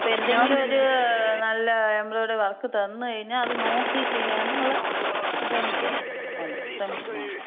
അപ്പോ എന്തെങ്കിലും ഒര് നല്ല എംബ്രോയ്ഡറി വർക്ക് തന്ന് കഴിഞ്ഞാ, അത് നോക്കി ചെയ്യാനുള്ള ഇതെനിക്കൊണ്ട്. ശ്രമിച്ച് നോക്കാം.